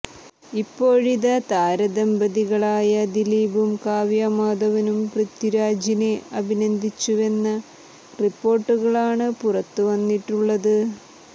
ഇപ്പോഴിതാ താരദമ്ബതികളായ ദിലീപും കാവ്യ മാധവനും പൃഥ്വിരാജിനെ അഭിനന്ദിച്ചുവെന്ന റിപ്പോര്ട്ടുകളാണ് പുറത്തുവന്നിട്ടുള്ളത്